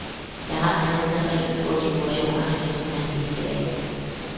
Jeg har denne terrin hvor dekorationerne næsten helt er slidt af.